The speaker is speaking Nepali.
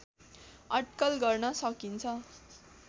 अड्कल गर्न सकिन्छ